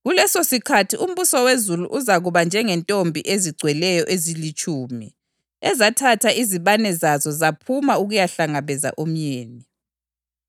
“Kulesosikhathi umbuso wezulu uzakuba njengezintombi ezigcweleyo ezilitshumi ezathatha izibane zazo zaphuma ukuyahlangabeza umyeni.